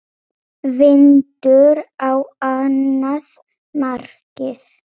Vindur á annað markið.